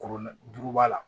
Kurun duuruba la